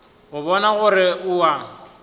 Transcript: go bona gore o a